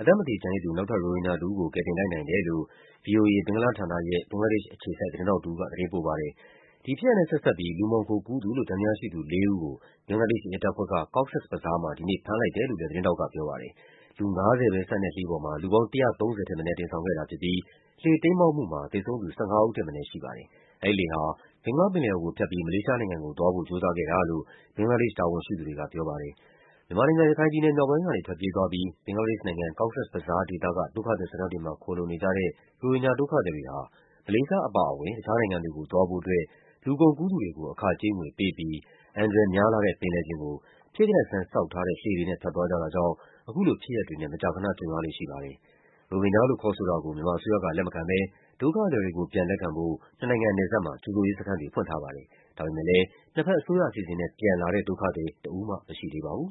အသက်မသေ ကျန်ရစ်သူ နောက်ထပ် ရိုဟင်ဂျာ တဦးကို ကယ်တင်လိုက်နိုင်တယ်လို့ ဗွီအိုအေ၊ ဘင်္ဂလားဌာနရဲ့ ဘင်္ဂလားဒေ့ရှ်အခြေစိုက် သတင်းထောက်တဦးက သတင်းပို့ပါတယ်။ ဒီဖြစ်ရပ်နဲ့ဆက်စပ်ပြီး လူမှောင်ခိုကူးသူလို့ သံသယရှိသူလေးဦးကို ဘင်္ဂလားဒေ့ရှ်ရဲတပ်ဖွဲ့က Cox’s Bazar မှာ ဒီနေ့ ဖမ်းလိုက်တယ်လို့လည်း သတင်းထောက်ကပြောပါတယ်။ လူူ ၅၀ ပဲဆန့်တဲ့လှေပေါ်မှာ လူပေါင်း ၁၃၀ ထက်မနည်း တင်ဆောင်ခဲ့တာဖြစ်ပြီး လှေတိမ်းမှောက်မှုမှာ သေဆုံးသူ ၁၅ ဦး ထက် မနည်း ရှိပါတယ်။ အဲဒီလှေဟာ ဘင်္ဂလားပင်လယ်အော်ကိုဖြတ်ပြီး မလေးရှားနိုင်ငံကိုသွားဖို့ ကြိုးစားခဲ့တာလို့ ဘင်္ဂလားဒေ့ရှ် တာဝန်ရှိသူတွေကပြောပါတယ်။ မြန်မာနိုင်ငံ၊ ရခိုင်မြောက်ပိုင်းကနေ ထွက်ပြေးသွားပြီး ဘင်္ဂလားဒေ့ရှ်နိုင်ငံ၊ Cox’s Bazar ဒေသက ဒုက္ခသည်စခန်းတွေမှာ ခိုလှုံနေကြတဲ့ ရိုဟင်ဂျာဒုက္ခသည်တွေဟာ မလေးရှားအပါအဝင် တခြားနိုင်ငံတွေကိုသွားဖို့အတွက် လူကုန်ကူးသူတွေကို အခကြေး ငွေပေးပြီး အန္တရာယ်များလှတဲ့ ပင်လယ်ပြင်ကို ဖြစ်ကတတ်ဆန်း ဆောက်ထားတဲ့ လှေတွေနဲ့ သွားကြတာကြောင့် အခုလို ဖြစ်ရပ်တွေနဲ့ မကြာခဏကြုံရလေ့ ရှိပါတယ်။ ရိုဟင်ဂျာလို့ ခေါ်ဆိုတာကို မြန်မာအစိုးရက လက်မခံဘဲ ဒုက္ခသည်တွေကို ပြန်လက်ခံဖို့ နှစ်နိုင်ငံနယ်စပ်မှာ ကြိုဆိုရေးစခန်းတွေ ဖွင့်ထားပါတယ်။ ဒါပေမဲ့လည်း နှစ်ဘက်အစိုးရအစီအစဉ်နဲ့ ပြန်လာတဲ့ ဒုက္ခသည် တဦးမှ မရှိသေးပါဘူး။